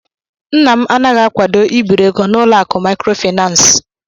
Nna m anaghị akwado ibiri ego n'ụlọ akụ maịkrofaịnans.